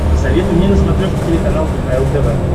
посоветуй мне на смотрешке телеканал кхл тв